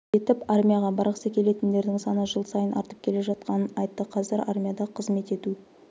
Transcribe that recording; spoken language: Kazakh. етіп армияға барғысы келетіндердің саны жыл сайын артып келе жатқанын айтты қазір армияда қызмет ету